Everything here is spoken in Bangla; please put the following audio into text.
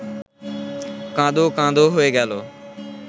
কাঁদো-কাঁদো হয়ে গেল